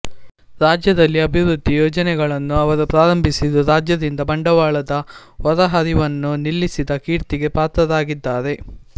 ರಾಜ್ಯದಲ್ಲಿ ಅಭಿವೃದ್ಧಿ ಯೋಜನೆಗಳನ್ನು ಅವರು ಪ್ರಾರಂಭಿಸಿದ್ದು ರಾಜ್ಯದಿಂದ ಬಂಡವಾಳದ ಹೊರಹರಿವನ್ನು ನಿಲ್ಲಿಸಿದ ಕೀರ್ತಿಗೆ ಪಾತ್ರರಾಗಿದ್ದಾರೆ